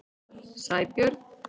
Sæbjörn